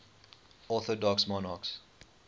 orthodox monarchs